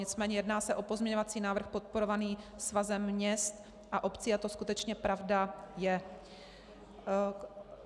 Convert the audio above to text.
Nicméně jedná se o pozměňovací návrh podporovaný Svazem měst a obcí a to skutečně pravda je.